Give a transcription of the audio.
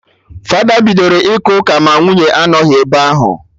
Fada bidoro ịka ụka ma nwunye anọghị ebe ahụ